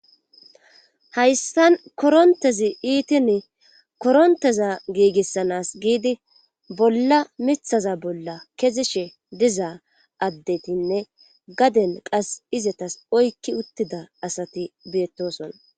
Hayssan korontezi iitii koronttez giigisanaas giidi bolla mithaza bolla keyishe diza addetinne gaden qas izatas oykki uttida asati beetosona.